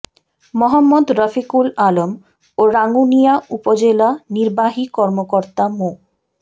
মোহাম্মদ রফিকুল আলম ও রাঙ্গুনিয়া উপজেলা নির্বাহী কর্মকর্তা মো